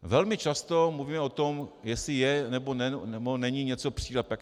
Velmi často mluvíme o tom, jestli je, nebo není něco přílepek.